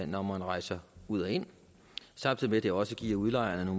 når man rejser ud og ind samtidig med at det også giver udlejerne